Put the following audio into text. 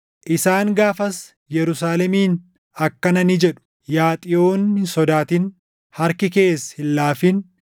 Isaan gaafas Yerusaalemiin akkana ni jedhu; “Yaa Xiyoon hin sodaatin; harki kees hin laafin.